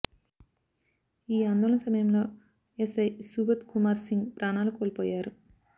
ఈ ఆందోళన సమయంలో ఎస్ఐ సుభోధ్ కుమార్ సింగ్ ప్రాణాలు కోల్పోయారు